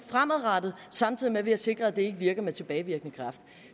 fremadrettet samtidig med at vi har sikret at det ikke virker med tilbagevirkende kraft